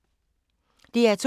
DR2